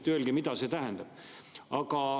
Öelge, mida see tähendab.